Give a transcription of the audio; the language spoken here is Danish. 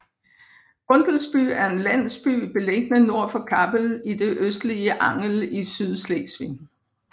Gundelsby er en landsby beliggende nord for Kappel i det østlige Angel i Sydslesvig